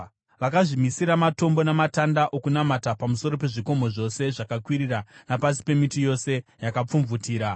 Vakazvimisira matombo namatanda okunamata pamusoro pezvikomo zvose zvakakwirira napasi pemiti yose yakapfumvutira.